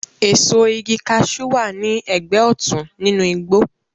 Èso igi kaṣú wà ní ẹgbẹ́ òtún nínú igbó